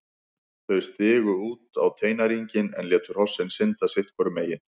Þau stigu út á teinæringinn en létu hrossin synda sitt hvoru megin.